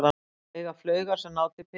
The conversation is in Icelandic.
Eiga flaugar sem ná til Peking